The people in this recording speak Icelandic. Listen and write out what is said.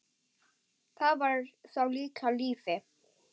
Það var þá líka líf!